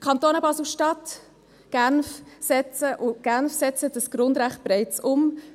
Die Kantone Basel-Stadt und Genf setzen dieses Grundrecht bereits um.